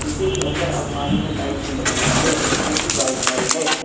इसी के अंदर अलमारी में लाइट भी लगी हुई है जो कि व्हाइट लाइट है।